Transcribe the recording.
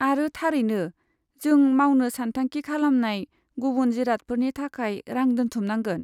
आरो थारैनो, जों मावनो सानथांखि खालामनाय गुबुन जिरादफोरनि थाखाय रां दोनथुमनांगोन।